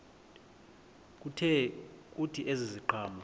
kuthi ezi ziqhamo